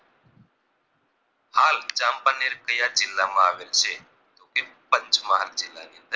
હાલ ચાંપાનેર કયા જિલ્લા માં આવેલ છે તો કે પંચમહાલ જિલ્લા ની અંદર